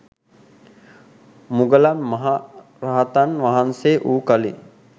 මුගලන් මහ රහතන් වහන්සේ වූ කලී